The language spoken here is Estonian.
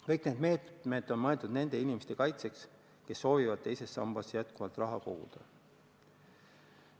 Kõik need meetmed on mõeldud nende inimeste kaitseks, kes soovivad teises sambas jätkuvalt raha koguda.